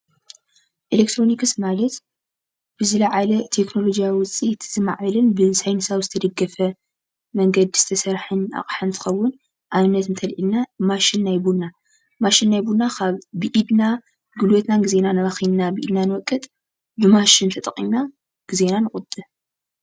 ኤሌትሮኒክስ ማለት ብዝለዓለ ቴክኖሉጅያዊ ውፅኢት ዝማዕበለ ብሳይንሳዊ ዝተደገፈ መንገድን ዝተሰርሐን ኣቅሓ እንትከዉን፡፡ ኣብነት እንተሪእና ማሽን ናይ ቡና ማሽን ናይ ቡና ካብ ብኢድና ጉልበትናን ግዜናን ኣባኪና ኢና ንዎቅጥ ብማሽን ተጠቂምና ግዜና ንቁጥብ ፡፡